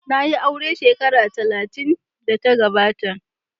Na yi aure shekara talatin da ta gabata.